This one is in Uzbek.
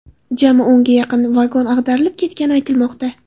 Jami o‘nga yaqin vagon ag‘darilib ketgani aytilmoqda.